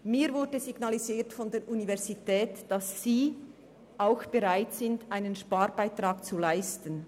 Mir wurde vonseiten der Universität signalisiert, dass auch sie bereit sei, einen Sparbeitrag zu leisten.